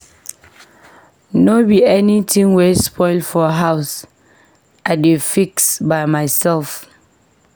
No be everytin wey spoil for house I dey fix by mysef.